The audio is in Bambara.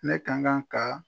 Ne ka kan ka